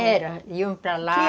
Era, iam para lá.